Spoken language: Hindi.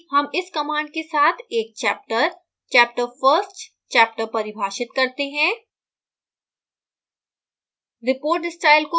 इसके साथ ही हम इस command के साथ एक chapter: chapter first chapter परिभाषित करते हैं